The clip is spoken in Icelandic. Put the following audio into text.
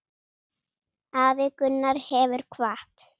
Afi Gunnar hefur kvatt.